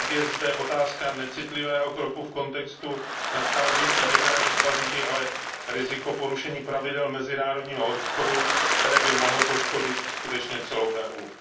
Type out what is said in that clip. Jednak je zde otázka necitlivého kroku v kontextu nadcházejících jednání v Paříži, ale i riziko porušení pravidel mezinárodního obchodu, které by mohlo poškodit skutečně celou EU.